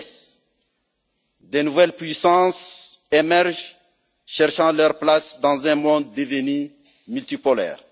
De nouvelles puissances émergent, cherchant leur place dans un monde devenu multipolaire.